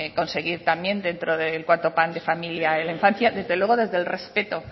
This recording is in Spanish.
conseguir también dentro del cuarto plan de familia y la infancia desde luego desde el respeto